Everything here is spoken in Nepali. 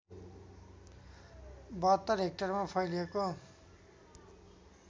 ७२ हेक्टरमा फैलिएको